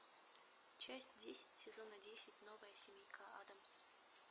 часть десять сезона десять новая семейка аддамс